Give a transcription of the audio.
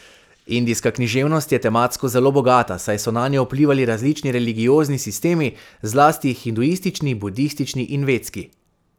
Indijska književnost je tematsko zelo bogata, saj so nanjo vplivali različni religiozni sistemi, zlasti hinduistični, budistični in vedski.